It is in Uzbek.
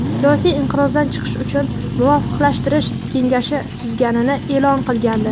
siyosiy inqirozdan chiqish uchun Muvofiqlashtirish kengashi tuzganini e’lon qilgandi.